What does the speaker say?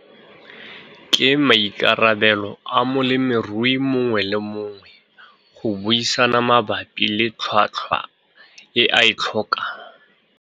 Ke maikarabelo a molemirui mongwe le mongwe go buisana mabapi le tlhotlhwa e a e tlhokang.